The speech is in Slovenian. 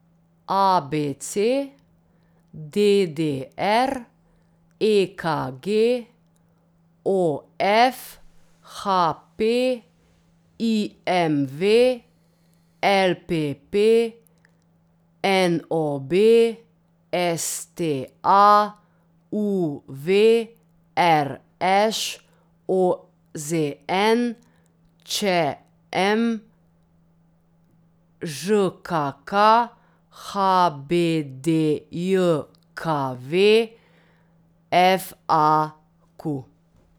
A B C; D D R; E K G; O F; H P; I M V; L P P; N O B; S T A; U V; R Š; O Z N; Č M; Ž K K; H B D J K V; F A Q.